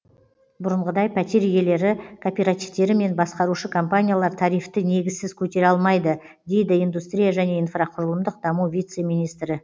бұрынғыдай пәтер иелері кооперативтері мен басқарушы компаниялар тарифті негізсіз көтере алмайды дейді индустрия және инфрақұрылымдық даму вице министрі